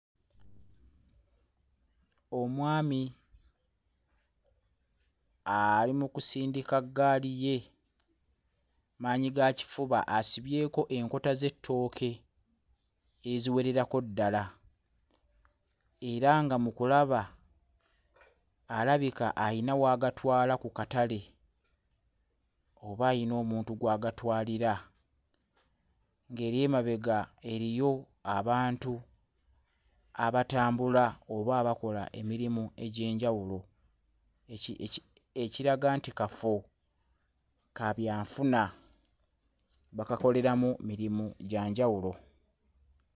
Omwami ali mu kusindika ggaali ye maanyigakifuba asibyeko enkota z'ettooke eziwererako ddala era nga mu kulaba alabika ayina w'agatwala ku katale oba ayina omuntu gw'agatwalira ng'eri emebaga eriyo abantu abatambula oba abakola emirimu egy'enjawulo eki eki ekiraga nti kafo ka byanfuna bakakoleramu mirimu gya njawulo.